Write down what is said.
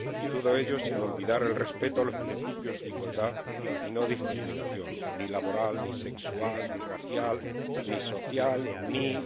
Y todo ello, sin olvidar el respeto de los principios de igualdad y no discriminación, ni laboral, ni sexual, ni racial, ni social, ni...,